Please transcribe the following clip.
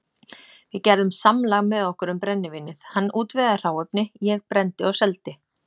Við gerðum samlag með okkur um brennivínið, hann útvegaði hráefni, ég brenndi og seldi.